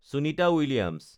Sunita Williams